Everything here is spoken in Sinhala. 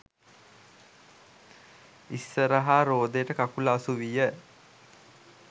ඉස්සරහා රෝදයට කකුල අසුවිය.